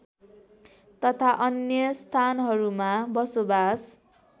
तथा अन्य स्थानहरूमा बसोबास